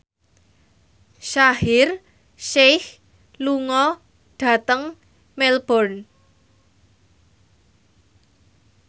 Shaheer Sheikh lunga dhateng Melbourne